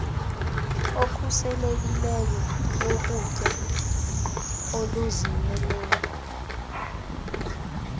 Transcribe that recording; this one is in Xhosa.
okhuselekileyo wokutya oluzimeleyo